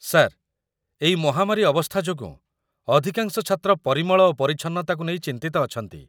sir, ଏଇ ମହାମାରୀ ଅବସ୍ଥା ଯୋଗୁଁ, ଅଧିକାଂଶ ଛାତ୍ର ପରିମଳ ଓ ପରିଚ୍ଛନ୍ନତାକୁ ନେଇ ଚିନ୍ତିତ ଅଛନ୍ତି